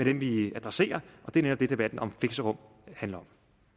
det vi adresserer og det er netop det debatten om fixerum handler